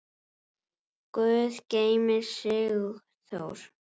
Guð geymi Sigþór.